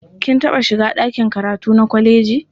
Kin taɓa shiga ɗaki karatu na kwaleji?